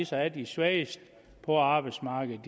sig af de svageste på arbejdsmarkedet